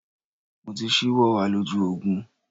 Mo ti ṣíwọ́ àlòjù Ògùn.